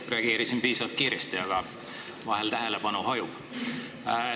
Reageerisin piisavalt kiiresti, aga vahel tähelepanu hajub.